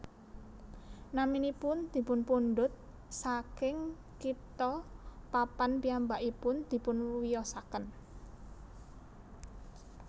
Naminipun dipunpundhut saking kitha papan piyambakipun dipunwiyosaken